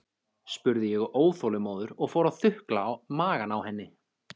spurði ég óþolinmóður og fór að þukla magann á henni.